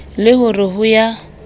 le ho re ho ya